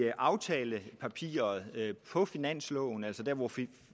i aftalepapiret på finansloven altså der hvor